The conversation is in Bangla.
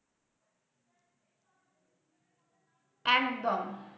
একদম।